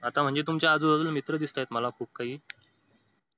आता म्हणजे तुमच्या आजूबाजूला मित्र दिसतायेत मला खूप काही